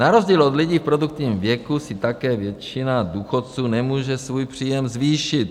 Na rozdíl od lidí v produktivním věku si také většina důchodců nemůže svůj příjem zvýšit.